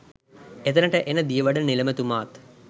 එතැනට එන දියවඩන නිලමේතුමාත්